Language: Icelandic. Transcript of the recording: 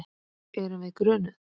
Erum við grunuð?